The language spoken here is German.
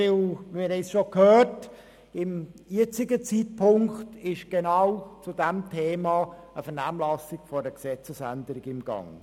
Wie wir gehört haben, ist momentan zum selben Thema eine Vernehmlassung zu einer diesbezüglichen Gesetzesänderung im Gang.